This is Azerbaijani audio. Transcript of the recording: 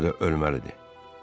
Buna görə də ölməlidir.